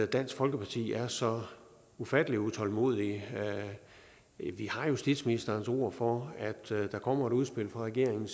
dansk folkeparti er så ufattelig utålmodige vi har justitsministerens ord for at der kommer et udspil fra regeringen